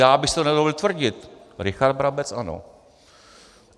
Já bych si to nedovolil tvrdit. Richard Brabec ano.